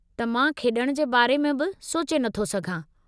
त मां खेड॒ण जे बारे में बि सोचे नथो सघां।